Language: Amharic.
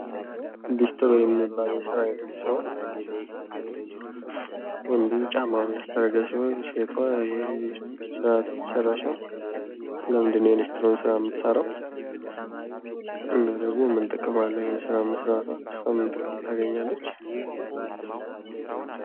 ሊስትሮ የሚባል የስራ አይነት ሲሆን ወንዱ ጫማውን እያስጠረገ ሲሆን ሴቷ ስራዋን እየሰራች ነው። ለምንድነው የሊስትሮን ስራ የምትሰራው? እና ደግሞ ምን ጥቅም አለው? ይሄን ስራ መስራቷ ለእሷ ምን ጥቅም ታገኛለች?